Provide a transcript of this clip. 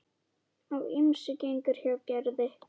Á ýmsu gengur hjá Gerði.